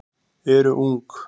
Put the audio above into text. eru ung.